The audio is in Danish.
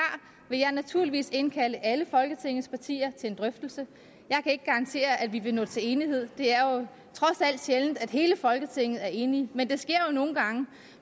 vil jeg naturligvis indkalde alle folketingets partier til en drøftelse jeg kan ikke garantere at vi vil nå til enighed det er jo trods alt sjældent at hele folketinget er enige men det sker jo nogle gange